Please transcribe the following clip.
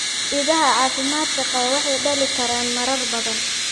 Idaha caafimaadka qaba waxay dhalin karaan marar badan.